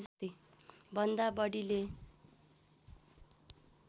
भन्दा बढीले